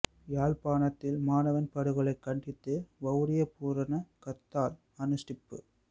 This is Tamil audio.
யாழ்ப்பாணத்தில் மாணவன் படுகொலை கண்டித்து வவுனியா பூரண கர்த்தால் அனுஸ்டிப்பு